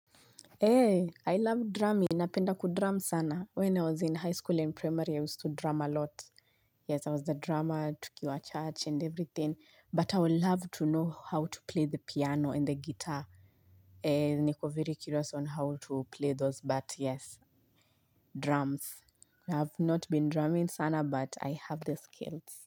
Eee, I love drumming. Napenda kudrum sana. When i was in highschool and primary i used to drum alot. Yes, I was the drummer, tukiwa church and everything. But I would love to know how to play the piano and the guitar. Eee, niko very curious on how to play those, but yes, drums. I have not been drumming sana, but I have the skills.